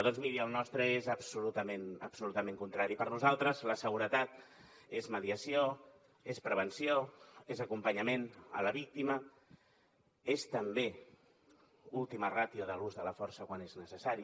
doncs miri el nostre és absolutament contrari per nosaltres la seguretat és mediació és prevenció és acompanyament a la víctima és també última ràtio de l’ús de la força quan és necessari